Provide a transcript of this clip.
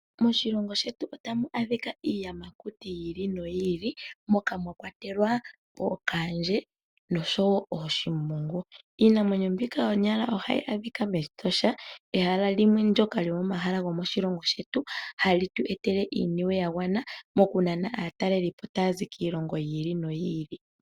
Moshilongo shetu otamu adhika iiyamakuti yi ili noyi ili, moka mwa kwatelwa ookaandje noshowo ooshimbunu. Iinamwenyo mbika konyala ohayi adhika mEtosha, ehala limwe ndyoka lyomomahala gomoshilongo shetu, hali tu etele iiniwe ya gwana moku nana aataleli po taya zi kiilongo yi ili noyi ili.